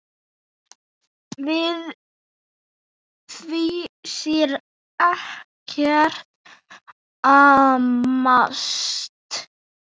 Við því sé ekkert amast.